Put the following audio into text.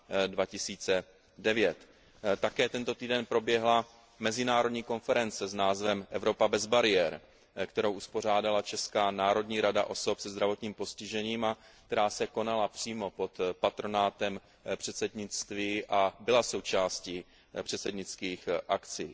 2009. Také tento týden proběhla mezinárodní konference s názvem Evropa bez bariér, kterou uspořádala Česká národní rada osob se zdravotním postižením a která se konala přímo pod patronátem předsednictví a byla součástí předsednických akcí.